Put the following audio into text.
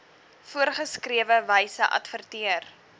voorgeskrewe wyse adverteer